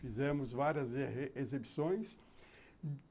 Fizemos várias exibições.